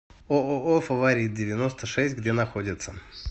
ооо фаворит девяносто шесть где находится